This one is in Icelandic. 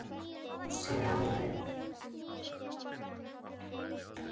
Nýtt þing tók síðan við.